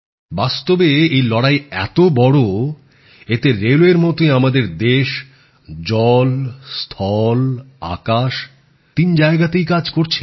বাস্তবে এই লড়াই এত বড় এতে রেলওয়ের মতই আমাদের দেশ জল স্থল আকাশ তিন জায়গাতেই কাজ করছে